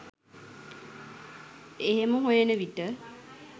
එහෙම හොයන විට